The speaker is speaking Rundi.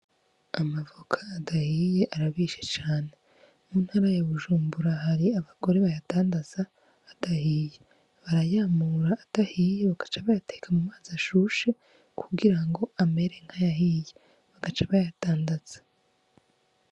Amavoka adahiye arabishe cane. Mu ntara ya Bujumbura hari abagore bayadandaza adahiye. Barayamura adahiye bagaca bayateka mu mazi ashushe kugira ngo amere nk'ayahiye bagaca bayadandaza.